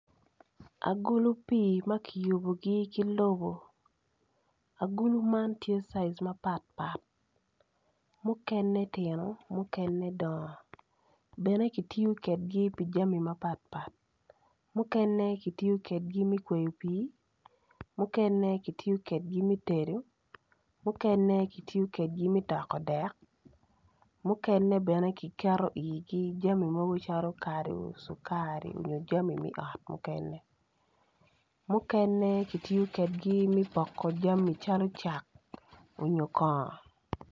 Akulu pii ma kiyubugi ki lobo agulu man tye size mapatpat mukene tino mukene dongo bene ki tiyo kedgi pi jami mapatpat mukene ki tiyo kedgi me kweyo pii mukene ki tiyo kedgi me tedo mukene ki tiyo kedgi me toko dek mukene bene ki keto i igi jami mogo calo kadu cukari nyo jami me ot mukene mukene ki tiyo kedgi me poko jami mogo calo cak onyo kongo